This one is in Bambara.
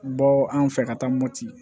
Bɔ an fɛ ka taa moti